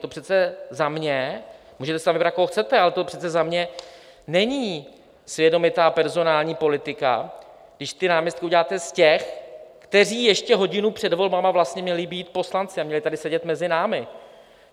To přece za mě - můžete si tam vybrat, koho chcete, ale to přece za mě není svědomitá personální politika, když ty náměstky uděláte z těch, kteří ještě hodinu před volbami měli být poslanci a měli tady sedět mezi námi.